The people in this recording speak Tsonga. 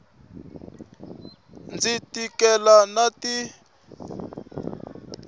ndzi tikela tanihi n wana